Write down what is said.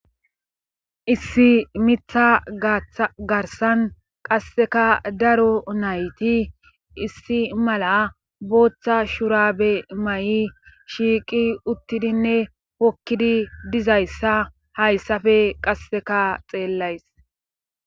issi mitha garsan qasseka daro nayti issi mala booththa shurabe ma7i shiiqi uttidinne hokkidi dizayssa hayssafe qasseka xeellays